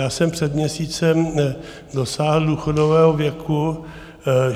Já jsem před měsícem dosáhl důchodového věku.